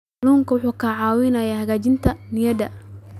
Kalluunku wuxuu caawiyaa hagaajinta niyadda.